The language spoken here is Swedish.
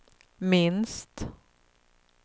minst